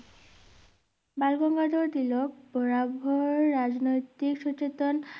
বালগঙ্গাধর তিলক বরাবর রাজনৈতিক সুচেতন